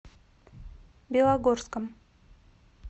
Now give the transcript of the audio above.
белогорском